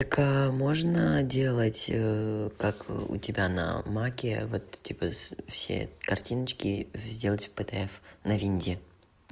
так можно делать как у тебя на маке вот типа с все картиночки сделать пдф на винде